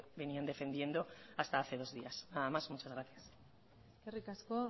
venían defendiendo hasta hace dos días nada más muchas gracias eskerrik asko